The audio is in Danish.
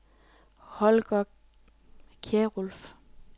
Holger Kjærulff